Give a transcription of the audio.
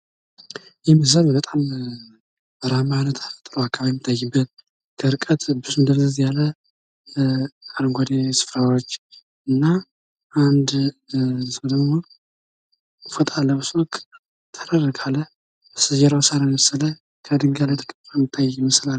ይህ ምስል በጣም በረሃማ አከባቢ የሚታይበት ከርቀት ብዙም ደብዘዝ ያለ አረንጓዴ ስፍራዎች እና አንድ ሰው ደሞ ፎጣ ለብሶ ጠረር ካለ በስተጀርባው ሳር የመሰለ ከድንጋይ ላይ ተቀምጦ ይታያል።